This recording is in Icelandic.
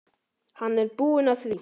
Hann er búinn að því.